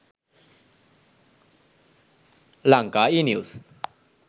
lanka enews